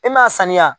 E m'a saniya